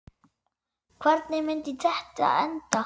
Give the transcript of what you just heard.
Hvernig myndi þetta enda?